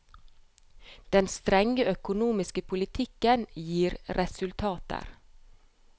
Den strenge økonomiske politikken gir resultater.